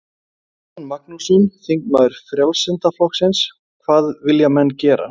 Jón Magnússon, þingmaður Frjálslynda flokksins: Hvað vilja menn gera?